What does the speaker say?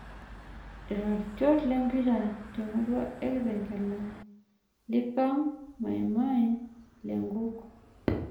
Iratiot lempira temurua ekitengela; Likam, Maimai, lenkuk.